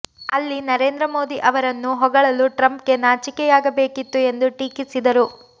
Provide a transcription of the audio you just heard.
ಅಲ್ಲಿ ನರೇಂದ್ರ ಮೋದಿ ಅವರನ್ನು ಹೊಗಳಲು ಟ್ರಂಪ್ಗೆ ನಾಚಿಕೆಯಾಗಬೇಕಿತ್ತು ಎಂದು ಟೀಕಿಸಿದರು